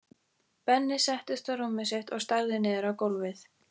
Benni settist á rúmið sitt og starði niður á gólfið.